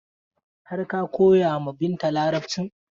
Har ka koya ma Binta Larabcin?